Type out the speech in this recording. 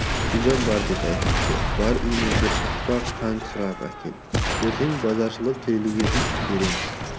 гүлжан бар деді әкесі бар үйінен бір шақпақ қант сұрап әкел ертең базаршылар келгесін береміз